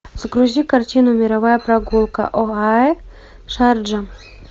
загрузи картину мировая прогулка оаэ шарджа